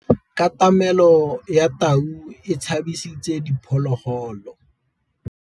Katamêlô ya tau e tshabisitse diphôlôgôlô.